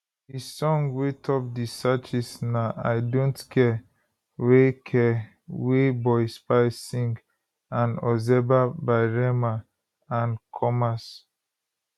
di song wey top di searches na i dont care wey care wey boy spyce sing and ozeba by rema and commas